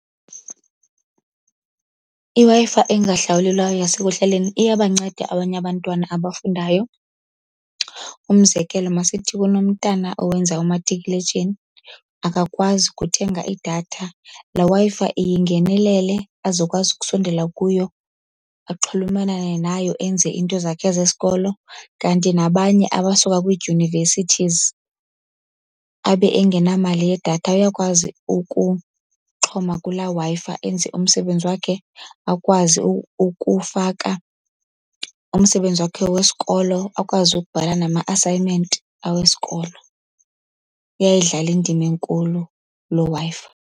IWi-Fi engahlawulelwayo yasekuhlaleni iyabanceda abanye abantwana abafundayo. Umzekelo, masithi kunomntana owenza umatikuletsheni, akakwazi kuthenga idatha. Laa Wi-Fi iyingenelele azokwazi ukusondela kuyo axhulumanane nayo enze into zakhe zesikolo. Kanti nabanye abasuka kwiidyunivesithizi abe engenamali yedatha uyakwazi ukuxhoma kulaa Wi-Fi enze umsebenzi wakhe, akwazi ukufaka umsebenzi wakhe wesikolo, akwazi ukubhala nama-assignment awesikolo. Kuyayidlala indima enkulu loo Wi-Fi.